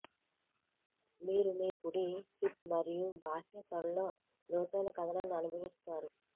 మీరు మీ కుడి హిప్ మరియు బాహ్య తొడలో లోతైన కధనాన్ని అనుభవిస్తారు